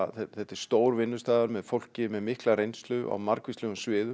þetta er stór vinnustaður með fólki með mikla reynslu á margvíslegum sviðum